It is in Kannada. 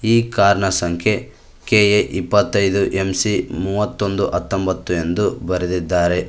ಈ ಕಾರ್ ನ ಸಂಖ್ಯೆ ಕೆ_ಎ ಇಪ್ಪತೈದು ಎಂಸಿ ಮೂವತ್ತೊಂದು ಹತಂಬತ್ತು ಎಂದು ಬರೆದಿದ್ದಾರೆ.